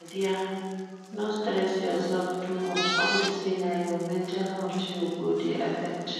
My dear, no stress yourself too much unto say na your mental health you go dey affect